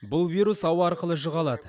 бұл вирус ауа арқылы жұға алады